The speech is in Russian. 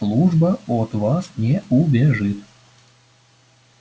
служба от вас не убежит